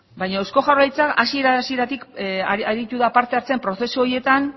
baina eusko jaurlaritza hasiera hasieratik aritu da parte hartzen prozesu horietan